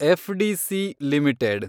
FDC limited